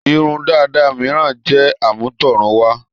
Irun dàda mìíràn jẹ́ àmútọ̀runwá.